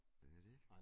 Det er det